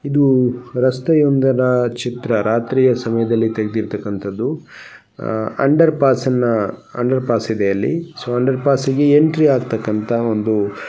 ಇದು ರಸ್ತೆಯೊಂದರ ಚಿತ್ರ ರಾತ್ರಿಯ ಸಮಯದಲ್ಲಿ ತೆಗ್ದಿರ್ತಕಂತದ್ದು ಅಂಡರ್ ಪಾಸ್ನ ಅಂಡರ್ ಪಾಸ್ ಇದೆ ಅಲ್ಲಿ ಸೊ ಅಂಡರ್ ಫಾಸ್ಸಿಗೆ ಎಂಟ್ರಿ ಆಗ್ ತಕಂತಹ ಒಂದು --